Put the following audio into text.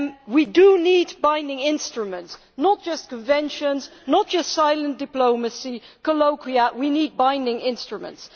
We do need binding instruments, not just conventions, not just silent diplomacy, colloquia we need binding instruments.